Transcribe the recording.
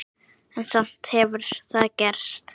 En samt hefur það gerst.